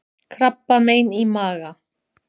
KRABBAMEIN Í MAGA